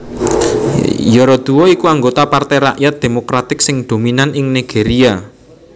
Yaradua iku anggota Partai Rakyat Demokratik sing dominan ing Nigeria